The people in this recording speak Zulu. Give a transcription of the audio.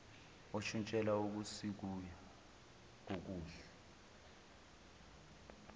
oshintshela okusikuya kokuhle